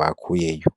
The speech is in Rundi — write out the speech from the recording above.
bakuyeyo.